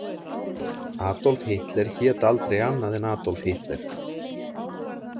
Adolf Hitler hét aldrei annað en Adolf Hitler.